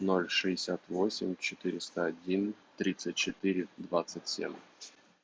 ноль шестьдесят восемь четыреста один тридцать четыре двадцать семь